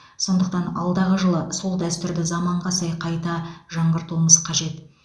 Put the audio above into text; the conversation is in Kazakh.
сондықтан алдағы жылы сол дәстүрді заманға сай қайта жаңғыртуымыз қажет